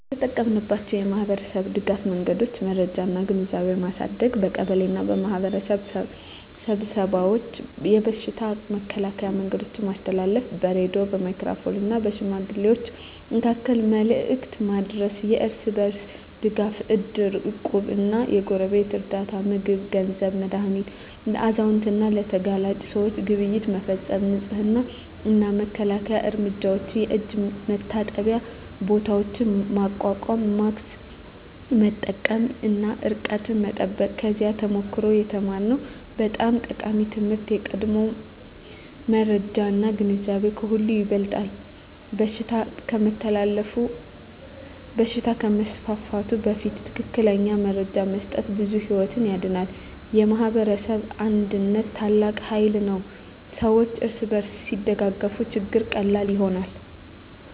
የተጠቀማችንባቸው የማኅበረሰብ ድጋፍ መንገዶች የመረጃ እና ግንዛቤ ማሳደግ በቀበሌ እና በማኅበረሰብ ስብሰባዎች የበሽታ መከላከያ መረጃ ማስተላለፍ በሬዲዮ፣ በሜጋፎን እና በሽማግሌዎች መካከል መልዕክት ማድረስ የእርስ በርስ ድጋፍ እድር፣ እቁብ እና የጎረቤት ርዳታ (ምግብ፣ ገንዘብ፣ መድሃኒት) ለአዛውንት እና ለተጋላጭ ሰዎች ግብይት መፈፀም የንፅህና እና መከላከያ እርምጃዎች የእጅ መታጠቢያ ቦታዎች ማቋቋም ማስክ መጠቀም እና ርቀት መጠበቅ ከዚያ ተሞክሮ የተማርነው በጣም ጠቃሚ ትምህርት የቀድሞ መረጃ እና ግንዛቤ ከሁሉ ይበልጣል በሽታ ከመስፋፋቱ በፊት ትክክለኛ መረጃ መስጠት ብዙ ሕይወት ያድናል። የማኅበረሰብ አንድነት ታላቅ ኃይል ነው ሰዎች እርስ በርስ ሲደጋገፉ ችግሮች ቀላል ይሆናሉ።